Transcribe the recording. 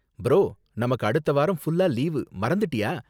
Bro, நமக்கு அடுத்த வாரம் ஃபுல்லா லீவு, மறந்துட்டியா?